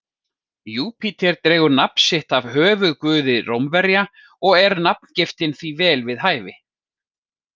Júpíter dregur nafn sitt af höfuðguði Rómverja og er nafngiftin því vel við hæfi.